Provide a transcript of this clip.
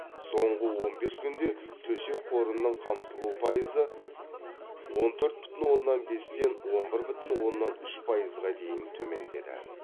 соңғы он бес күнде төсек қорының қамтылу пайызы он төрт бүтін оннан бестен он бір бүтін оннан үш пайызға дейін төмендеді